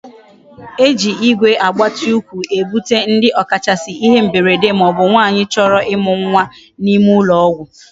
Eji Igwe eji agbati ukwu ebute ndi okachasi ihe mberede ma obu nwanyi choro imu nwa na ime ulo ogwu